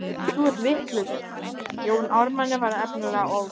Þið eruð vitlaus, Jóni Ármanni var endanlega ofboðið.